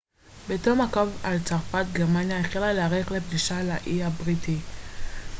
בתום הקרב על צרפת גרמניה החלה להערך לפלישה לאי הבריטי